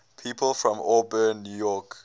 people from auburn new york